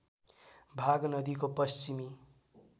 भाग नदीको पश्चिमी